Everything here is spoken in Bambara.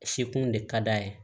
Sekun de ka d'a ye